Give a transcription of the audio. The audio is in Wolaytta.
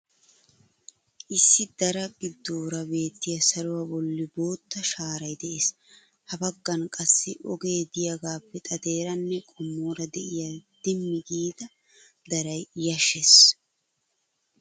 Issi daraa giddoora beettiya saluwa bolli bootta shaaray de'es. Ha baggan qassi ogee diyagaappe xadeeranne qommoora diya dimmi giida daray yashshees.